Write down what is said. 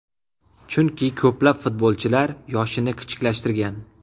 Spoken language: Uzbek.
Chunki ko‘plab futbolchilar yoshini kichiklashtirgan.